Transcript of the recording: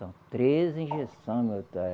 São três injeção